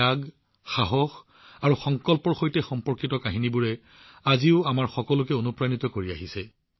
তেওঁৰ ত্যাগ সাহস আৰু সংকল্পৰ সৈতে সম্পৰ্কিত কাহিনীবোৰে আজিও আমাক অনুপ্ৰাণিত কৰে